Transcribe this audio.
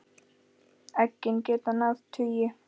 Eggin geta náð tugi.